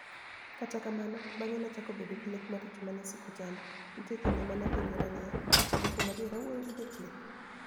Kata kamano, banige'niachako bedo gi lek maricho ma ni e siko chanida. niitie kinide ma ni e apenijora niiya, 'Be kuom adier awuoyo gi jachieni?'